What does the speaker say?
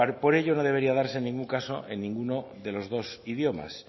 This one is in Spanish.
por ello no debería darse en ningún caso en ninguno de los dos idiomas